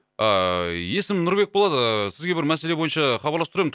ааа есімім нұрбек болады ыыы сізге бір мәселе бойынша хабарласып тұр ем